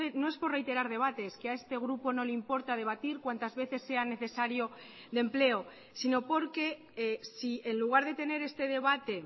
no es por reiterar debates que a este grupo no le importa debatir cuantas veces sea necesario de empleo sino porque si en lugar de tener este debate